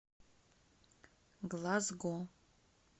глазго